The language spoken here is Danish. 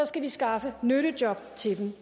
skal vi skaffe nyttejob til dem